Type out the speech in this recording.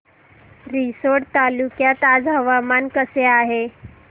रिसोड तालुक्यात आज हवामान कसे आहे